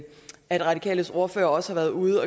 at radikales ordfører også har været ude